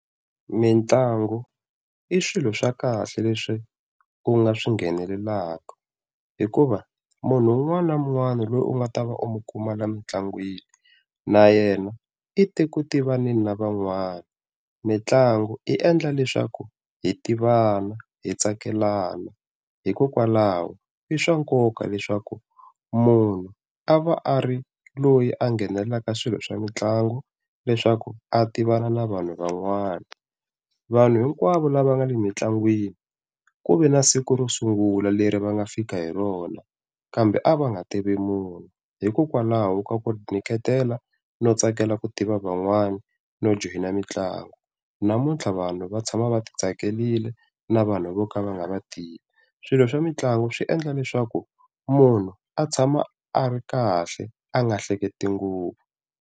Mintlangu i swilo swa kahle leswi u nga swi nghenelelaka, hikuva munhu un'wana na un'wana loyi u nga ta va u n'wi kuma lomu mintlangwini na yena i te ku tivaneni na van'wana. Mintlangu yi endla leswaku hi tivana hi tsakelaka hikokwalaho i swa nkoka leswaku munhu a va a ri loyi a nghenelelaka swilo swa mitlangu, leswaku a tivana na vanhu van'wana. Vanhu hinkwavo lava nga le mitlangwini ku ve na siku ro sungula leri va nga fika hi rona, kambe a va nga tivi munhu, hikokwalaho ka ku tinyiketela no tsakela ku tiva van'wana no joyina mitlangu namuntlha vanhu va tshama va ti tsakerile na vanhu vo ka va nga va tivi. Swilo swa mitlangu swi endla leswaku munhu a tshama a ri kahle a nga hleketi ngopfu.